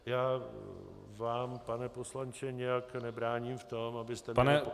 Já vám pane poslanče nijak nebráním v tom, abyste -